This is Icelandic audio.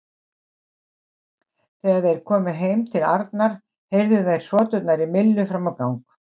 Þegar þeir komu heim til Arnar heyrðu þeir hroturnar í Millu fram á gang.